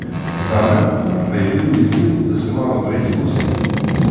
Zame pa je bil izziv, da se malo preizkusim.